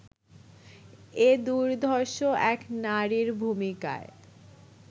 এ দুর্ধর্ষ এক নারীর ভূমিকায়